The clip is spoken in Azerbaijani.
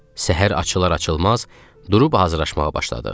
Səhər açılar-açılmaz durub hazırlaşmağa başladıq.